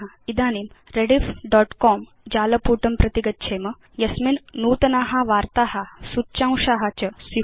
यथा इदानीं rediffकॉम जालपुटं प्रति गच्छेम यस्मिन् नूतना वार्ता सूच्यांशा च स्यु